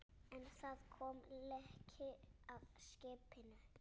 En það kom leki að skipinu.